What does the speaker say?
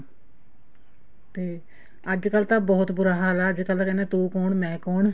ਤੇ ਅੱਜਕਲ ਤਾਂ ਬਹੁਤ ਬੁਰਾ ਹਾਲ ਆ ਅੱਜਕਲ ਤੇ ਕਹਿੰਦੇ ਆ ਤੂੰ ਕੋਣ ਮੈਂ ਕੋਣ